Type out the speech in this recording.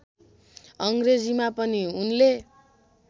अङ्ग्रेजीमा पनि उनले